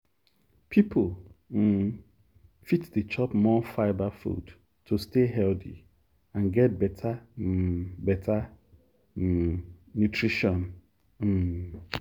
people um fit dey chop more fibre food to stay healthy and get better um better um nutrition. um